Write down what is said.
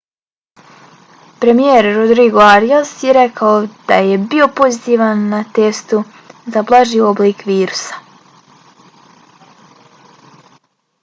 premijer rodrigo arias je rekao da je bio pozitivan na testu za blaži oblik virusa